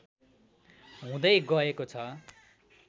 हुँदै गएको छ